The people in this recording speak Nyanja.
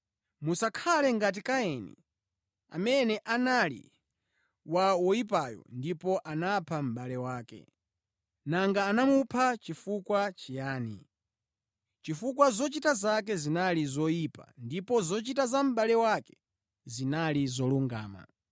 Musakhale ngati Kaini, amene anali wa woyipayo ndipo anapha mʼbale wake. Nanga anamupha chifukwa chiyani? Chifukwa zochita zake zinali zoyipa ndipo zochita za mʼbale wake zinali zolungama.